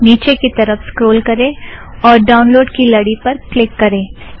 निचे की तरफ़ स्क्रोल करें और ड़ाउनलोड़ की लड़ी पर क्लिक करें